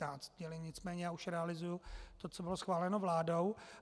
Nicméně já už realizuju to, co bylo schváleno vládou.